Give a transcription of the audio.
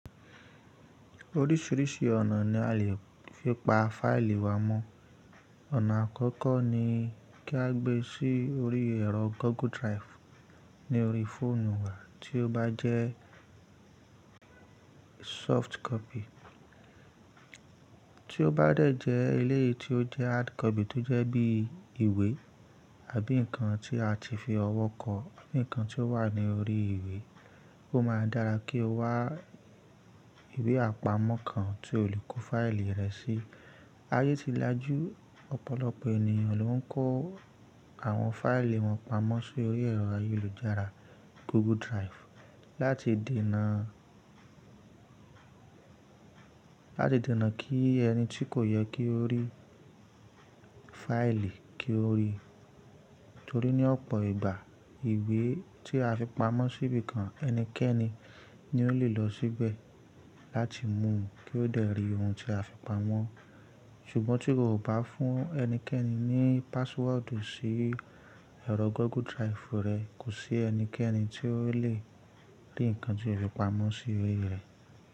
Oríṣiríṣi ọ̀nà ni a lè fi pa fáìlì wa mọ́. Ọ̀nà àkọ́kọ́ ni kí a gbé sí orí ẹ̀rọ "Google Drive" ní orí fóònù wa tí ó bá jẹ́ "soft copy". Tí ó bá dẹ̀ jẹ́ eléyìí tí ó jẹ́ "hard copy" tó jẹ́ bí ìwé àbí nǹkan tí a ti fi ọwọ́ kọ, àbí nǹkan tí ó wà ní orí ìwé, ó máa dára kí o wá ìwé àpamọ́ kan tí o lè kó fáìlì rẹ sí. Ayé ti lajú, ọ̀pọ̀lọpọ̀ ènìyàn ló ń kó àwọn fáìlì wọn pamọ́ sí orí ẹ̀rọ ayélujára "Google Drive" láti dènà, láti dènà kí ẹni tí kò yẹ kí ó rí fáìlì kí ó rí. Torí ní ọ̀pọ̀ ìgbà ìwé tí a fi pamọ́ síbi kan ẹnikẹ́ni ni ó lè lọ síbẹ̀ láti mú u kí ó dè rí ohun tí a fi pamọ́. Ṣùgbọ́n tí iwo o bá fún ẹnikẹ́ni ní "password" sí ẹ̀rọ "Google Drive" rẹ kò sí ẹnikẹ́ni tí ó lè rí nǹkan tí o fi pamọ́ sí orí rẹ̀